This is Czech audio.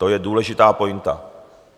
To je důležitá pointa.